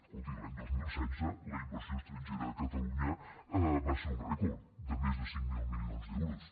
escolti l’any dos mil setze la inversió estrangera a catalunya va ser un rècord de més cinc mil milions d’euros